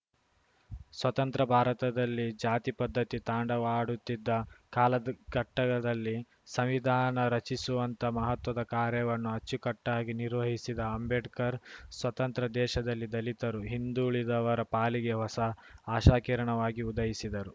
ಸ್ವತಂತ್ರ ಭಾರತದಲ್ಲಿ ಜಾತಿ ಪದ್ಧತಿ ತಾಂಡವವಾಡುತ್ತಿದ್ದ ಕಾಲದ್ ಘಟ್ಟದಲ್ಲಿ ಸಂವಿಧಾನ ರಚಿಸುವಂತಹ ಮಹತ್ವದ ಕಾರ್ಯವನ್ನು ಅಚ್ಚುಕಟ್ಟಾಗಿ ನಿರ್ವಹಿಸಿದ ಅಂಬೇಡ್ಕರ್‌ ಸ್ವತಂತ್ರ ದೇಶದಲ್ಲಿ ದಲಿತರು ಹಿಂದುಳಿದವರ ಪಾಲಿಗೆ ಹೊಸ ಆಶಾಕಿರಣವಾಗಿ ಉದಯಿಸಿದರು